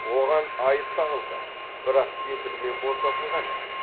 оған айып тағылды бірақ кепілмен босатылған еді